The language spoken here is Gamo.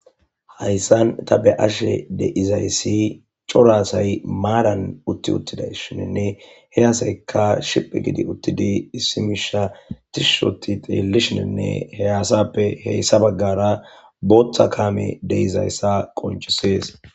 Hayssan ta be ashe deizayssi corasay maadan utti uttiday shininne he asaykka shiphe gidi uttidi issimisha tishushoti xeellishininne hey asappe heyssa baggara booththa kaame deizayssa qoncisees.